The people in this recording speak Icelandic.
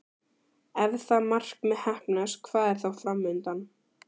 Ef það markmið heppnast, hvað er þá fram undan?